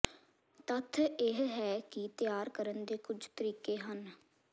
ਤੱਥ ਇਹ ਹੈ ਕਿ ਤਿਆਰ ਕਰਨ ਦੇ ਕੁਝ ਤਰੀਕੇ ਹਨ